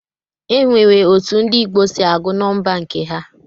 E nwere otu ndị Igbo si agụ nọmba nke ha.